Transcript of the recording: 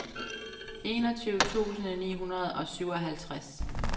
enogtyve tusind ni hundrede og syvoghalvtreds